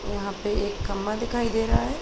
यहाँ पे एक खम्बा दिखाई दे रहा है।